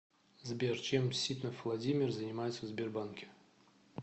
сбер чем ситнов владимир занимается в сбербанке